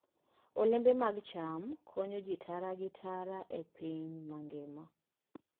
Olembe mag cham konyo ji tara gi tara e piny mangima.